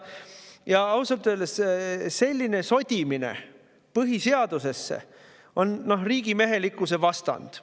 Ja ausalt öeldes on selline põhiseaduse sodimine riigimehelikkuse vastand.